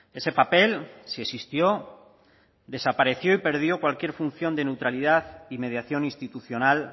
ese papel si existió desapareció y perdió cualquier función de neutralidad y mediación institucional